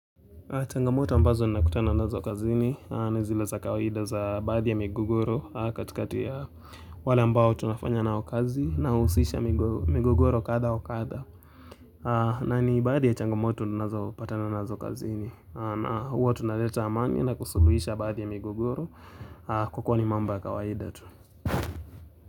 Changamoto ambazo nakutana nazo kazini, nizile za kawahida za baadhi ya migogoro katikati ya wale ambao tunafanya nao kazi na uhusisha migogoro kadha wa kadha. Na ni baadhi ya changamoto tunazopatana nazo kazini, na huwa tunaleta amani na kusuluhisha baadhi ya migogoro kukuwani mambo ya kawaida tu.